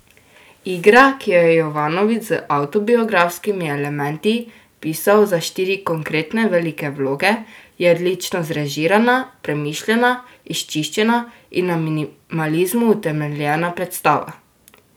Igra, ki jo je Jovanović z avtobiografskimi elementi pisal za štiri konkretne velike vloge, je odlično zrežirana, premišljena, izčiščena in na minimalizmu utemeljena predstava.